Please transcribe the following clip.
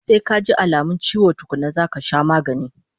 Sai kaji alamun chiwo tukkuna zaka sha magani